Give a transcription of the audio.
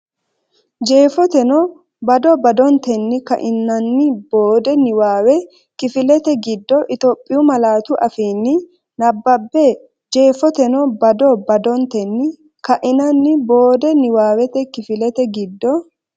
Jeefoteno bado badotenni ka’inanni boode niwaawe kifilete giddo Itophiyu malaatu afiinni nabbabbe Jeefoteno bado badotenni ka’inanni boode niwaawe kifilete giddo.